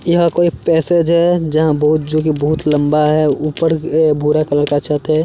यह कोई पैसेज है जहां बहुत जो की बहुत लंबा है। ऊपर भुरा कलर का छत है।